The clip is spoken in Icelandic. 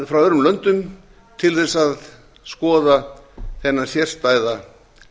frá öðrum löndum til þess að skoða þennan sérstæða